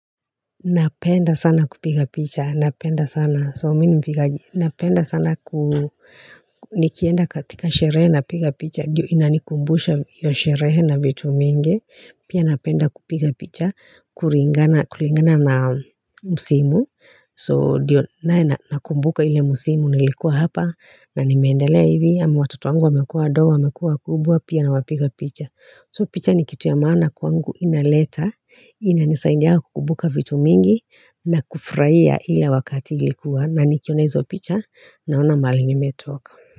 Napenda sana kupiga picha. Napenda sana. So mi nipiga. Napenda sana nikienda katika sherehe napiga picha. Ndio inanikumbusha hio sherehe na vitu mingi. Pia napenda kupiga picha. Kuringana na musimu. So ndio nae nakumbuka ile msimu nilikuwa hapa. Na nimeendelea hivi. Ama watoto wangu wamekua wadogo wamekuwa kubwa. Pia nawapiga picha. So picha ni kitu ya maana kwangu inaleta, inanisaindia kukumbuka vitu mingi na kufurahia ile wakati nilikuwa na nikiona izo picha naona mahali nimetoka.